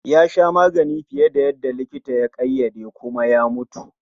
yasha maganin fiye da likitan ya ƙaiyade kuma ya mutu.